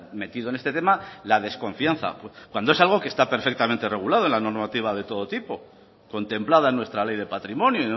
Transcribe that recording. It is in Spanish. metido en este tema la desconfianza cuando es algo que está perfectamente regulado en la normativa de todo tipo contemplada en nuestra ley de patrimonio